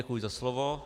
Děkuji za slovo.